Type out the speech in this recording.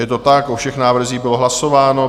Je to tak, o všech návrzích bylo hlasováno.